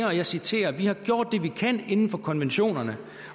og jeg citerer vi har gjort det vi kan inden for konventionerne